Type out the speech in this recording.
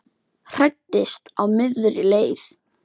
Hræddist á miðri leið